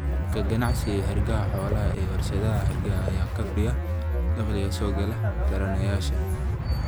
Ka ganacsiga hargaha xoolaha ee warshadaha hargaha ayaa kordhiya dakhliga soo gala taranayaasha.